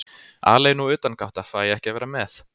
Alein og utangátta, fæ ekki að vera með.